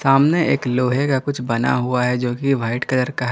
सामने एक लोहे का कुछ बना हुआ है जो कि व्हाइट कलर का है।